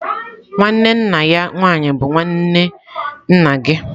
Nwanne nna ya nwaanyị bụ nwanne nna gị.